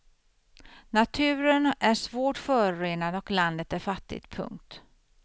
Naturen är svårt förorenad och landet är fattigt. punkt